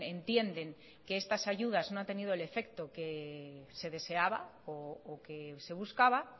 entienden que estas ayudas no ha tenido el efecto que se deseaba o que se buscaba